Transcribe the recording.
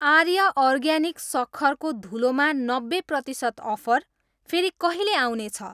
आर्य organic सक्खरको धुलो मा नब्बे प्रतिसत अफर फेरि कहिले आउने छ?